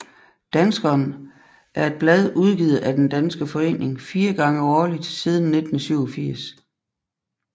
Danskeren er et blad udgivet af den Den Danske Forening fire gange årligt siden 1987